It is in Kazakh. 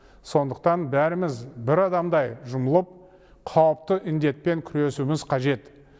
сондықтан бәріміз бір адамдай жұмылып қауіпті індетпен күресуіміз қажет